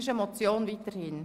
– Es bleibt bei der Motion.